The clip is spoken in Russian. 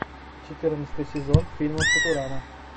четырнадцатый сезон фильма футурама